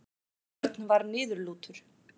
Örn var niðurlútur.